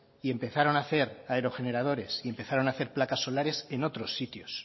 y empezaron a hacer aerogeneradores y empezaron a hacer placas solares en otros sitios